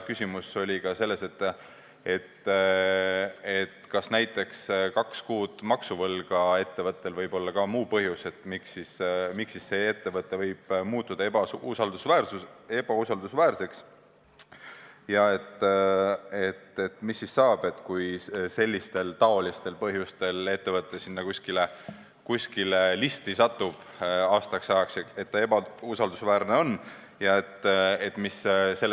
Küsimus oli ka selles, kas näiteks ettevõtte kahe kuu maksuvõlg võib olla muu põhjus, miks ettevõte võib muutuda ebausaldusväärseks, ja mis saab siis, kui ettevõte sellistel põhjustel aastaks ajaks ebausaldusväärsete isikute listi satub.